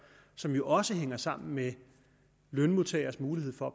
som jo også hænger sammen med lønmodtageres mulighed for